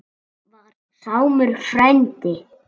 Það var Sámur frændi.